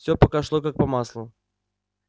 всё пока шло как по маслу